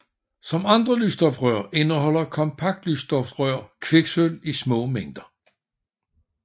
Som andre lysstofrør indeholder kompaktlysstofrør kviksølv i små mængder